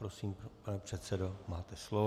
Prosím, pane předsedo, máte slovo.